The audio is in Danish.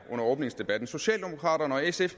synes